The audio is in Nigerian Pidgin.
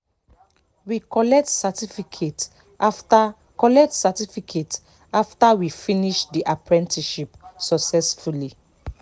we collect certificate after collect certificate after we finish the apprenticeship successfully